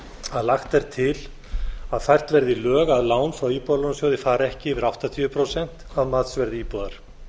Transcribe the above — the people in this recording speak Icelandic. að lagt er til að fært verði í lög að lán frá íbúðalánasjóði fari ekki yfir áttatíu prósent af matsverði íbúðar